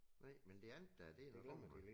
Nej men det andet der det da godt nok